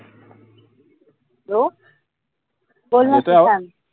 hello